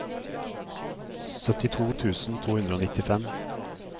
syttito tusen to hundre og nittifem